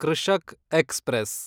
Krishak express